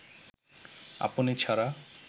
আপনি ছাড়া